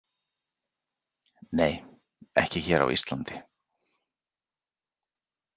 Nei, ekki hér á Íslandi.